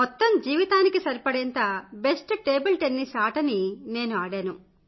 మొత్తం జీవితానికి సరిపడేంత బెస్ట్ టేబుల్ టెన్నిస్ ఆటను ఆడాను